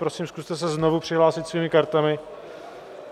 Prosím, zkuste se znovu přihlásit svými kartami.